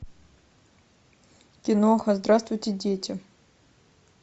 киноха здравствуйте дети